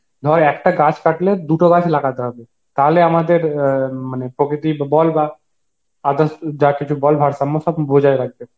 ধর একটা গাছ কাটলে দুটো গাছ লাগাতে হবে তাহলে আমাদের আ উম মানে প্রকৃতি বল বা others যা কিছু বল ভারসম্য সব রাখবে, but সেটা তো হচ্ছে না